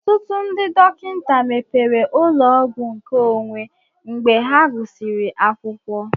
Ọtụtụ ndị dọkịta mepere ụlọ ọgwụ nke onwé mgbe ha gụsịrị akwụkwọ